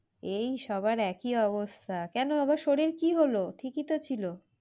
এই সবার একই অবস্থা। কেন আবার শরীর কি হলো? ঠিকই তো ছিল